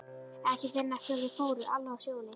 Ekki fyrr en eftir að þau fóru, Alla og Sjóni.